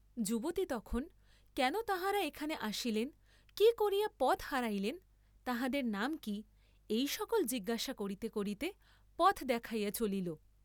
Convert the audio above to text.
যুবতী তখন, কেন তাঁহারা এখানে আসিলেন, কি করিয়া পথ হারাইলেন, তাঁহাদের নাম কি, এই সকল জিজ্ঞাসা করিতে করিতে পথ দেখাইয়া চলিল।